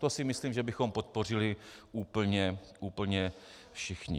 To si myslím, že bychom podpořili úplně všichni.